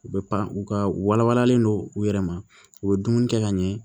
U bɛ pan u ka u wala walalen don u yɛrɛ ma u bɛ dumuni kɛ ka ɲɛ